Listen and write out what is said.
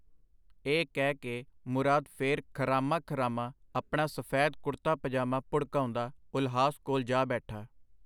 ਇਹ ਕਹਿ ਕੇ ਮੁਰਾਦ ਫੇਰ ਖਰਾਮਾ-ਖਰਾਮਾ ਆਪਣਾ ਸਫੈਦ ਕੁੜਤਾ-ਪਜਾਮਾ ਭੁੜਕਾਉਂਦਾ ਉਲਹਾਸ ਕੋਲ ਜਾ ਬੈਠਾ.